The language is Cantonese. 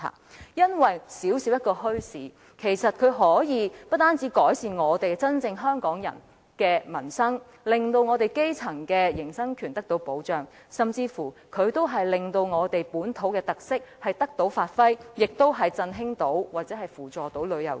這是因為小小的墟市不單可以真正改善香港人的民生，使基層的營生權獲得保障，甚至可以令我們的本土特色得以發揮，從而振興或扶助旅遊業。